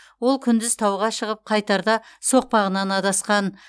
ол күндіз тауға шығып қайтарда соқпағынан адасқан